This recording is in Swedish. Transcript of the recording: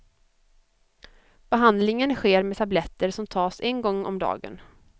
Behandlingen sker med tabletter som tas en gång om dagen.